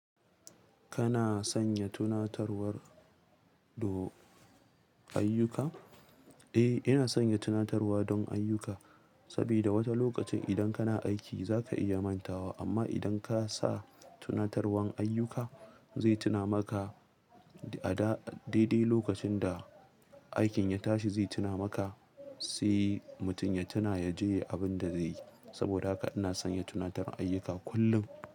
Kana sanya tunatarwar do ayyuka? Eh, ina sanya tunatarwa don ayyuka saboda wata lokacin idan kana aiki za ka iya mantawa. Amma idan ka sa tunatarwan ayyuka zai tuna maka da daidai lokacin da aikin ya tashi zai tuna maka sai mutum ya tuna ya je abin da zai yi. Saboda haka ina sanya tunatarin ayyuka kullum.